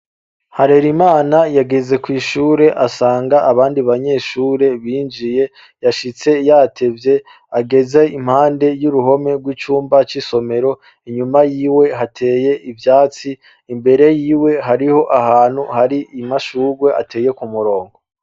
Harera imana yageze kw'ishure asanga abandi banyeshure binjiye yashitse yatevye ageze impande y'uruhome rw'icumba c'isomero inyuma yiwe hateye ivyatsi imbere yiwe hariho ahantu hari imashurwe ateye ku murongo.